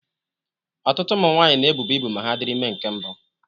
Ọtụtụ ụmụ nwanyị na-ebuba ibu ma ha dịrị ime nke mbụ